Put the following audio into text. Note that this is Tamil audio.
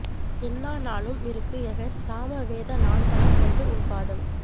எண்ணா நாளும் இருக்குஎகர் சாம வேத நான்மலர் கொண்டு உன் பாதம்